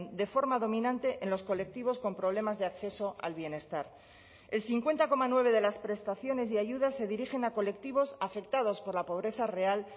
de forma dominante en los colectivos con problemas de acceso al bienestar el cincuenta coma nueve de las prestaciones y ayudas se dirigen a colectivos afectados por la pobreza real